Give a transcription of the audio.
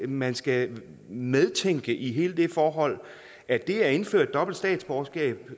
man skal medtænke i hele det forhold at det at indføre dobbelt statsborgerskab